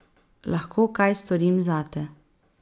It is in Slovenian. Lahko kaj storim zate?